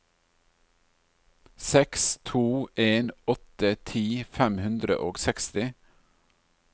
seks to en åtte ti fem hundre og seksti